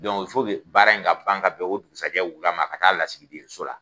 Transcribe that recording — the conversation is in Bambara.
baara in ka ban ka bɛn o dugusɛjɛ wula ma a k'a lasigi den so la.